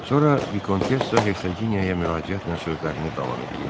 Sonra Vikontessa Ersaqinyaya müraciətlə sözlərini davam eləyirdi.